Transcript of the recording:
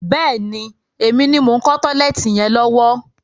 Bẹ́ẹ̀ni, èmi ni mo ń kọ́ tọ́lẹ́ẹ́tì yẹn lọ́wọ́.